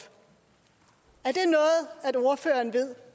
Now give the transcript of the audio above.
er det noget ordføreren ved